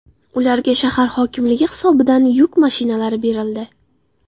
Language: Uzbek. Ularga shahar hokimligi hisobidan yuk mashinalari berildi.